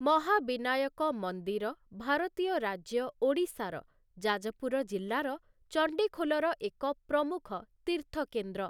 ମହାବିନାୟକ ମନ୍ଦିର ଭାରତୀୟ ରାଜ୍ୟ ଓଡ଼ିଶାର ଜାଜପୁର ଜିଲ୍ଲାର ଚଣ୍ଡିଖୋଲର ଏକ ପ୍ରମୁଖ ତୀର୍ଥକେନ୍ଦ୍ର ।